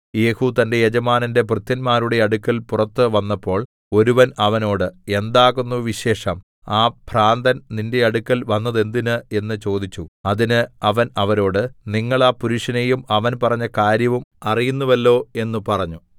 യേഹൂ തന്റെ യജമാനന്റെ ഭൃത്യന്മാരുടെ അടുക്കൽ പുറത്ത് വന്നപ്പോൾ ഒരുവൻ അവനോട് എന്താകുന്നു വിശേഷം ആ ഭ്രാന്തൻ നിന്റെ അടുക്കൽ വന്നതെന്തിന് എന്ന് ചോദിച്ചു അതിന് അവൻ അവരോട് നിങ്ങൾ ആ പുരുഷനെയും അവൻ പറഞ്ഞ കാര്യവും അറിയുന്നുവല്ലോ എന്ന് പറഞ്ഞു